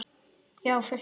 Já, og fullt af þeim.